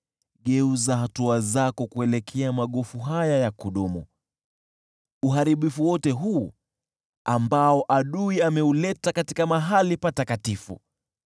Geuza hatua zako kuelekea magofu haya ya kudumu, uharibifu wote huu ambao adui ameuleta pale patakatifu.